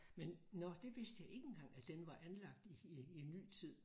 Men nåh det vidste jeg ikke engang at den var anlagt i i i ny tid